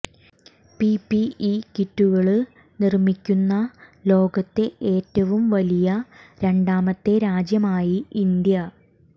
PPE കിറ്റുകള് നിര്മിക്കുന്ന ലോകത്തെ ഏറ്റവും വലിയ രണ്ടാമത്തെ രാജ്യമായി ഇന്ത്യ